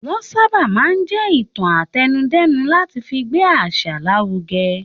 Wọ́n sábà máa ń jé ìtàn àtẹnudẹ́nu láti fi gbé àṣà lárugẹ.